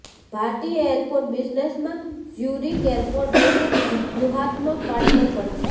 ભારતીય એરપોર્ટ બિઝનેસમાં Zurich airport એક વ્યૂહાત્મક પાર્ટનર પણ છે